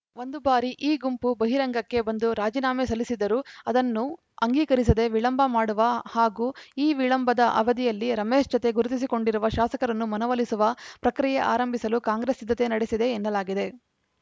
ಒಂದು ಬಾರಿ ಈ ಗುಂಪು ಬಹಿರಂಗಕ್ಕೆ ಬಂದು ರಾಜೀನಾಮೆ ಸಲ್ಲಿಸಿದರೂ ಅದನ್ನು ಅಂಗೀಕರಿಸದೇ ವಿಳಂಬ ಮಾಡುವ ಹಾಗೂ ಈ ವಿಳಂಬದ ಅವಧಿಯಲ್ಲಿ ರಮೇಶ್‌ ಜತೆ ಗುರುತಿಸಿಕೊಂಡಿರುವ ಶಾಸಕರನ್ನು ಮನವೊಲಿಸುವ ಪ್ರಕ್ರಿಯೆ ಆರಂಭಿಸಲು ಕಾಂಗ್ರೆಸ್‌ ಸಿದ್ಧತೆ ನಡೆಸಿದೆ ಎನ್ನಲಾಗಿದೆ